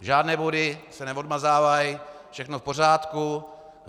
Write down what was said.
Žádné body se neodmazávají, všechno v pořádku.